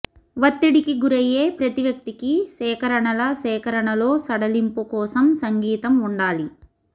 ఒత్తిడికి గురయ్యే ప్రతి వ్యక్తికి సేకరణల సేకరణలో సడలింపు కోసం సంగీతం ఉండాలి